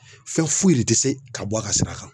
Fɛn foyi de tɛ se ka bɔ a ka sira kan